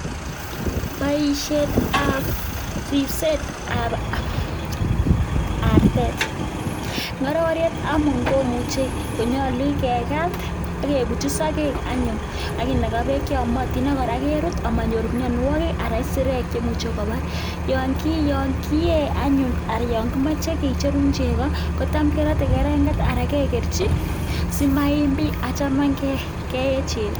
Boishetab ribsetab artet, ng'ororiet anyun komuche konyolu kerat ak kebutyi sokek anyun ak kinakaa beek cheyomotin ak kora kerut amanyor mionwokik anan isirek chemuche kobar, yoon kikee anyun aran yoon kimoche kicherun chekoo kotam kerote kereng'et aran kekerchi simaim biik, achome ng'e keen chekoo.